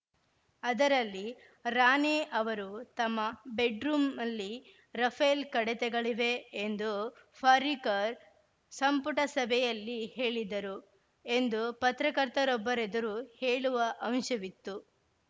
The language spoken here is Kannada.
ಅದರಲ್ಲಿ ರಾಣೆ ಅವರು ತಮ್ಮ ಬೆಡ್‌ರೂಮ್ ಅಲ್ಲಿ ರಫೇಲ್‌ ಕಡೆತೆಗಳಿವೆ ಎಂದುಫರಿಕರ್‌ ಸಂಪುಟ ಸಭೆಯಲ್ಲಿ ಹೇಳಿದ್ದರು ಎಂದು ಪತ್ರಕರ್ತರೊಬ್ಬರೆದುರು ಹೇಳುವ ಅಂಶವಿತ್ತು